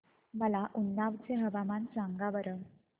मला उन्नाव चे हवामान सांगा बरं